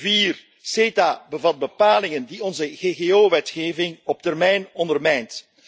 Vier, CETA bevat bepalingen die onze ggo wetgeving op termijn ondermijnt.